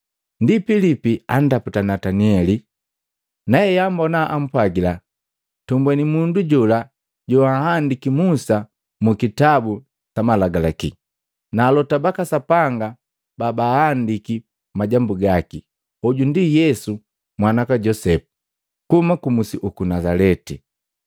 Ndipala Pilipi ataputa Nataneli, naeambona ampwagila, “Tumbweni mundu jola joahandiki Musa mukutabu sa Malagalaki, na alota baka Sapanga babahandiki majambu gaki, hoju ndi Yesu mwana waka Josepu, kuhuma ku musi uku Nazaleti.”